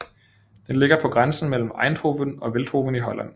Den ligger på grænsen mellem Eindhoven og Veldhoven i Holland